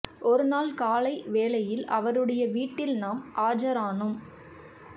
ஒரு நாள் காலை வேளையில் அவருடைய வீட்டில் நாம் ஆஜரானோம்